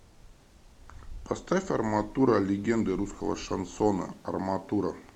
поставь арматура легенды русского шансона арматура